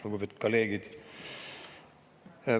Lugupeetud kolleegid!